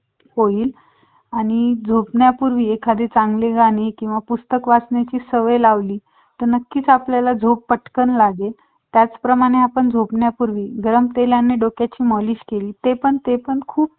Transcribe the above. फक्त त्यांची मजुरी द्यायची बाकी एकदम okay मध्ये करून द्यायचं.